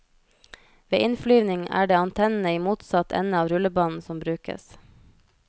Ved innflyvning er det antennene i motsatt ende av rullebanen som brukes.